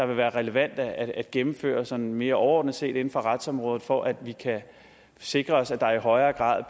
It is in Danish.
vil være relevant at gennemføre sådan mere overordnet set inden for retsområdet for at vi kan sikre os at der i højere grad